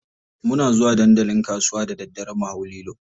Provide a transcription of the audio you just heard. Muna zuwa dandalin kasuwa da daddare mu hau lilo.